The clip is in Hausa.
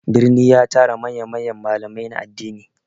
Birni ya tara manya-manyan malamai na addini.